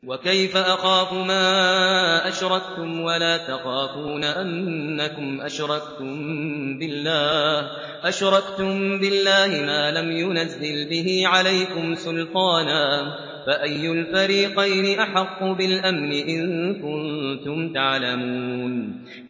وَكَيْفَ أَخَافُ مَا أَشْرَكْتُمْ وَلَا تَخَافُونَ أَنَّكُمْ أَشْرَكْتُم بِاللَّهِ مَا لَمْ يُنَزِّلْ بِهِ عَلَيْكُمْ سُلْطَانًا ۚ فَأَيُّ الْفَرِيقَيْنِ أَحَقُّ بِالْأَمْنِ ۖ إِن كُنتُمْ تَعْلَمُونَ